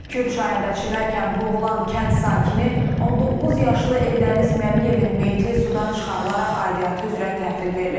Kür çayında çimərkən boğulan kənd sakini 19 yaşlı Eldəniz Məmiyevin meyiti sudan çıxarılaraq aidiyyatı üzrə təhvil verilib.